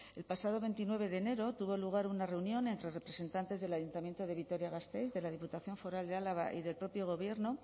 el pasado veintinueve de enero tuvo lugar una reunión entre representantes del ayuntamiento de vitoria gasteiz de la diputación foral de álava y del propio gobierno